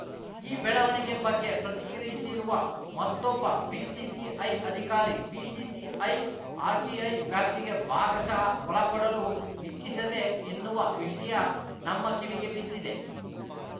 ಈ ಬೆಳವಣಿಗೆ ಬಗ್ಗೆ ಪ್ರತಿಕ್ರಿಯಿಸಿರುವ ಮತ್ತೊಬ್ಬ ಬಿಸಿಸಿಐ ಅಧಿಕಾರಿ ಬಿಸಿಸಿಐ ಆರ್‌ಟಿಐ ವ್ಯಾಪ್ತಿಗೆ ಭಾಗಶಃ ಒಳಪಡಲು ಇಚ್ಛಿಸದೆ ಎನ್ನುವ ವಿಷಯ ನಮ್ಮ ಕಿವಿಗೆ ಬಿದ್ದಿದೆ